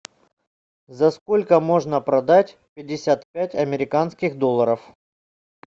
за сколько можно продать пятьдесят пять американских долларов